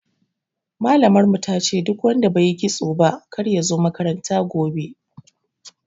Malamar mu tace duk wanda baiyi kitso ba kar yazo makaranta gobe